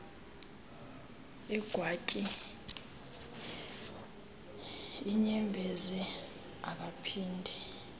egwantyi iinyembezi akaphinde